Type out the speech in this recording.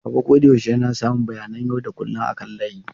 Baba koyaushe yana samun bayanan yau da kullun akan layi.